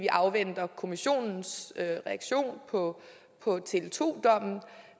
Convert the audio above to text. afventer kommissionens reaktion på tele2 dommen